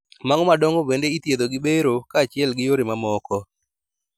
Mago madongo bende ithiedho gi bero kachiel gi yore mamoko